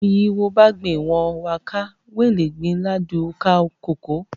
Uun yi wo bagbe own wa kal, wele gbe ila du o ka koko.